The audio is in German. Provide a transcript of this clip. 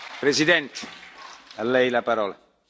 Herr Präsident, sehr geehrte Frau von der Leyen!